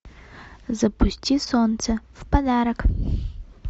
запусти солнце в подарок